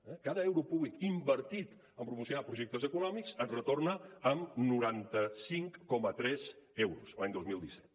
eh cada euro públic invertit en promocionar projectes econòmics et retorna amb noranta cinc coma tres euros l’any dos mil disset